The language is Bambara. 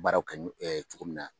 Baaraw kɛ cogo min na.